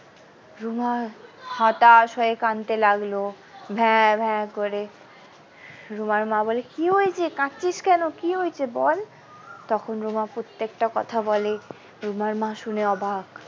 রুমা হতাশ হয়ে কাঁদতে লাগলো ভ্যাঁ ভ্যাঁ করে রুমার মা বলে কি হয়েছে কাঁদছিস কেন কি হয়েছে বল তখন রুমা প্রত্যেকটা কথা বলে রুমার মা শুনে অবাক।